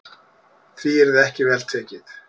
Því yrði ekki vel tekið.